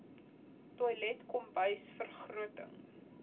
toilet kombuis vergroting